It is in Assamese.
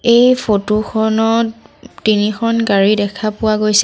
এই ফটো খনত তিনিখন গাড়ী দেখা পোৱা গৈছে।